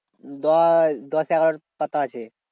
দশ দশ এগারো পাতা আছে।